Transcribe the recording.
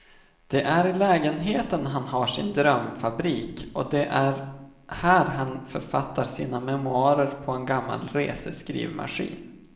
Det är i lägenheten han har sin drömfabrik och det är här han författar sina memoarer på en gammal reseskrivmaskin.